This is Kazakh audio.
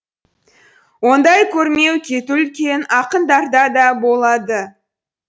ондай көрмей кету үлкен ақындарда да болады